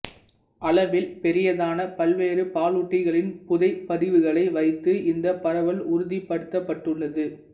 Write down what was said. அளவில் பெரியதான பல்வேறு பாலூட்டிகளின் புதைபடிவுகளை வைத்து இந்தப் பரவல் உறுதிப்படுத்தப்பட்டுள்ளது